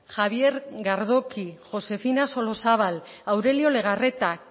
javier gardoqui josefina solozabal aurelio legarreta